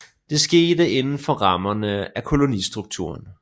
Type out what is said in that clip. Det skete inden for rammerne af kolonistrukturen